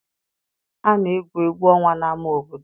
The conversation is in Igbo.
A na-egwu egwu ọnwa n'ama obodo.